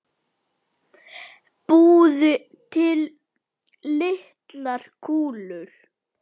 Búið til litlar kúlur.